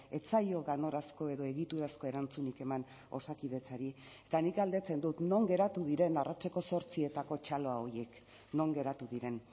ez zaio ganorazko edo egiturazko erantzunik eman osakidetzari eta nik galdetzen dut non geratu diren arratseko zortzietako txalo horiek non geratu diren